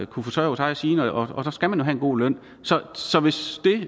kunne forsørge sig og sine og så skal man jo have en god løn så hvis det